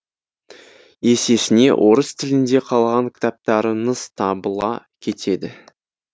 есесіне орыс тілінде қалаған кітаптарыңыз табыла кетеді